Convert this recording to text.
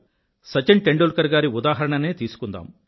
సచిన్ టేండుల్కర్ గారి ఉదాహరణనే తీసుకుందాం